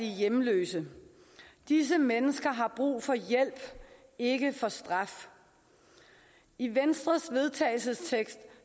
hjemløse disse mennesker har brug for hjælp ikke for straf i venstres vedtagelse